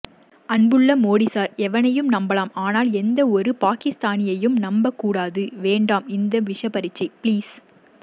அன்புள்ள மோடி சார் எவனையும் நம்பலாம் ஆனால் எந்தஒருபாகிஸ்தானியையும் நம்பவேகூடாது வேண்டாம் இந்த விஷபரீக்ஷ ப்ளீஸ்